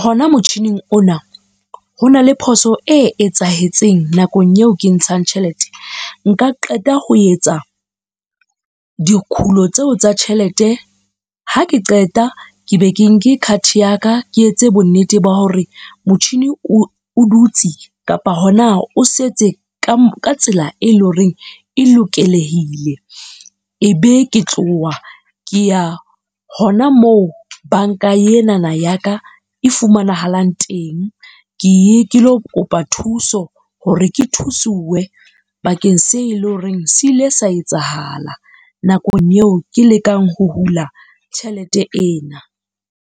hona motjhining ona, hona le phoso e etsahetseng nakong eo ke ntshang tjhelete, nka qeta ho etsa dikhulo tseo tsa tjhelete. Ha ke qeta ke be ke nke card ya ka, ke etse bonnete ba hore motjhini o dutse kapa hona o setse ka ka tsela e leng horeng e lokelehile. Ebe ke tloha ke ya hona moo banka enana ya ka e fumanahalang teng, ke ye ke lo kopa thuso hore ke thuswe bakeng se eleng horeng se ile sa etsahala nakong eo ke lekang ho hula tjhelete ena.